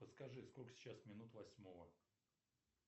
подскажи сколько сейчас минут восьмого